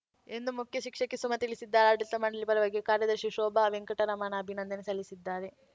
ಎಂದು ಮುಖ್ಯ ಶಿಕ್ಷಕಿ ಸುಮಾ ತಿಳಿಸಿದ್ದಾರೆ ಆಡಳಿತ ಮಂಡಳಿ ಪರವಾಗಿ ಕಾರ್ಯದರ್ಶಿ ಶೋಭಾ ವೆಂಕಟರಮಣ ಆಭಿನಂದನೆ ಸಲ್ಲಿಸಿದ್ದಾರೆ